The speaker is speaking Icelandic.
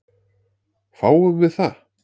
Fáum við það?